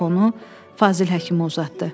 Telefonu Fazil Həkimə uzatdı.